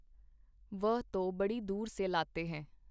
ਵਹ ਤੋ ਬੜੀ ਦੂਰ ਸੇ ਲਾਤੇ ਹੈਂ.